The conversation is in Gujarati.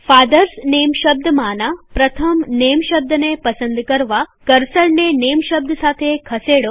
ફાધર્સ નેમ શબ્દમાંના પ્રથમ નેમ શબ્દને પસંદ કરવાકર્સરને નેમ શબ્દ સાથે ખસેડો